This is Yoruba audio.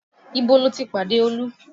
Ibo lo ti pàdé Olú?